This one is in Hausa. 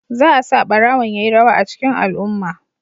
Za a sa barawon ya yi rawa a cikin al'umma.